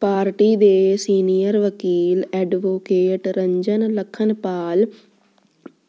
party ਦੇ senior ਵਕੀਲ advocate Ranjan Lakhanpal